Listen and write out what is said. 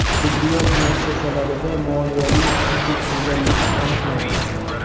Tibbiyot muassasalarida moliyaviy huquqbuzarliklar aniqlandi.